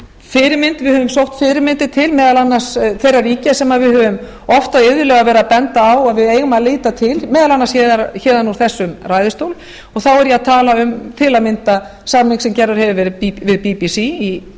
að við höfum sótt fyrirmyndir til meðal annars þeirra ríkja sem við höfum oft og iðulega verið að benda á að við eigum að líta til meðal annars héðan úr þessum ræðustól þá er ég að tala um til að mynda samning sem gerður hefur verið við bbc í